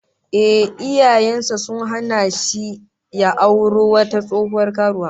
Ehh, iyayen sa sun hana shi ya auro wata tsohuwar karuwa